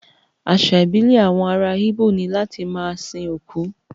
Àṣà ìbílẹ̀ àwọn ará Igbo ni láti máa sin òkú